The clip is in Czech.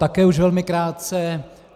Také už velmi krátce.